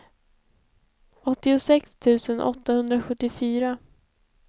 åttiosex tusen åttahundrasjuttiofyra